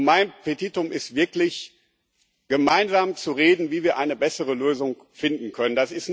Mein Petitum ist wirklich, gemeinsam zu reden, wie wir eine bessere Lösung finden können.